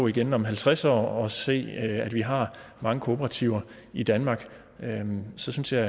igen om halvtreds år og se at vi har mange kooperativer i danmark så synes jeg